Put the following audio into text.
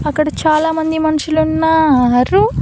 అక్కడ చాలామంది మనుషులున్నారు.